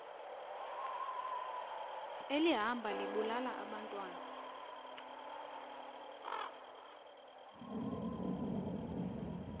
elihamba libulala abantwana